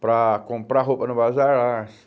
Para comprar roupa no bazar, arço.